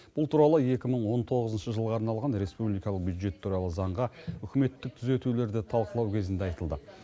бұл туралы екі мың он тоғызыншы жылға арналған республикалық бюджет туралы заңға үкіметтік түзетулерді талқылау кезінде айтылды